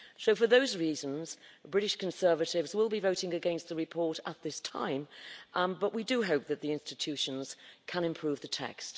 For those reasons, the British Conservatives will be voting against the report at this time, but we do hope that the institutions can improve the text.